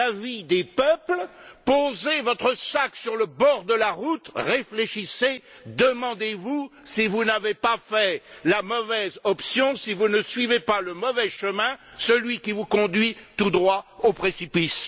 l'avis des peuples, posez votre sac sur le bord de la route, réfléchissez, demandez vous si vous n'avez pas pris la mauvaise option et si vous ne suivez pas le mauvais chemin, celui qui vous conduit tout droit au précipice.